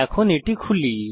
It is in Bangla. এখন এটি খুলি